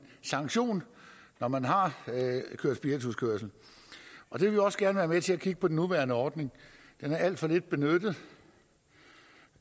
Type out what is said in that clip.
sanktion når man har kørt spirituskørsel og vi vil også gerne være med til at kigge på den nuværende ordning den er alt for lidt benyttet